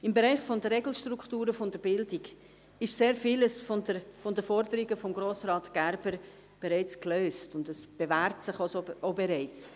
Im Bereich der Regelstrukturen der Bildung ist sehr vieles von den Forderungen von Grossrat Gerber bereits gelöst und bewährt sich auch bereits.